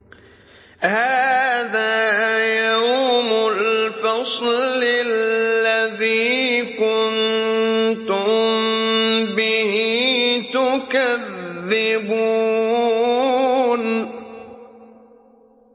هَٰذَا يَوْمُ الْفَصْلِ الَّذِي كُنتُم بِهِ تُكَذِّبُونَ